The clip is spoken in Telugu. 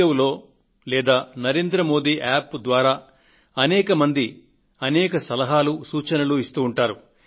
in లేదా నరేంద్ర మోది App ద్వారా అనేక మంది అనే సలహాలు సూచనలు ఇస్తూ ఉంటారు